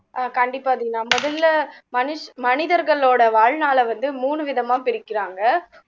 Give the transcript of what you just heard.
ஆஹ் கண்டிப்பா தேவ் நான் முதல்ல மனி மனிதர்களோட வாழ்நாளை வந்து மூணு விதமா பிரிக்கிறாங்க